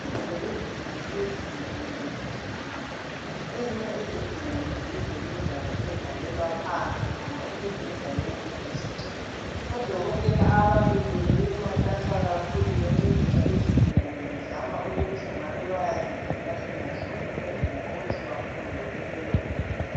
Izolo igumbi lezigulane beligcwele kakhulu ezinye izigulane zivele zayendlalelwa phansi ngoba imibheda ibigcwele odokotela ababili bebematasa kakhulu bencedisa izigulane bezama ukuthi ngabe bayazihlola hlola ukwenzela ukuthi baphunguke kulelo gumbi.